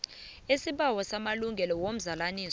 isibawo samalungelo womzalanisi